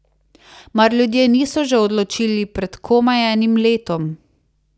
Mar ljudje niso že odločili pred komaj enim letom?